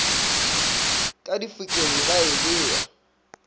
ka difokeng ba e beya